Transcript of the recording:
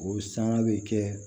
O sanga bɛ kɛ